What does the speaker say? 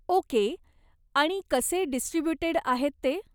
Okay, आणि कसे distributed आहेत ते.